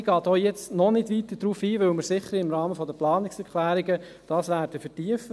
Ich gehe jetzt noch nicht weiter darauf ein, weil wir diese bestimmt im Rahmen der Planungserklärungen vertiefen werden.